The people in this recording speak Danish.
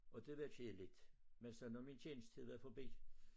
Og det var kedeligt men så når min tjenestetid var forbi